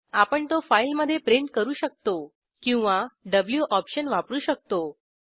आपण तो फाईलमधे प्रिंट करू शकतो किंवा व्ही ऑप्शन वापरू शकतो